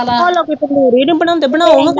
ਹੁਣ ਲੋਕੀ ਤੰਦੂਰੀ ਨਹੀਂ ਬਣਾਉਂਦੇ ਬਣਾਉਣ ਹਾ ਕਿਤੇ